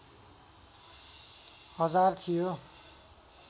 हजार थियो